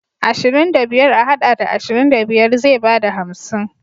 Ashirin da biyar a haɗa da ashirin da biyar zai bada hamsin.